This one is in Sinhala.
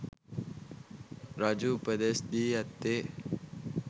රජු උපදෙස් දී ඇත්තේ